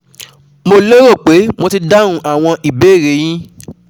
Mo lérò pé mo ti dáhùn àwọn ìbéèrè e yín